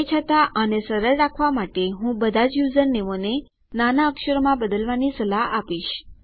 તે છતાં આને સરળ રાખવા માટે હું બધાજ યુઝરનેમોને નાના અક્ષરોમાં બદલવાની સલાહ આપીશ